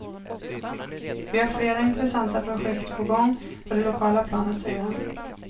Vi har flera intressanta projekt på gång på det lokala planet, säger han.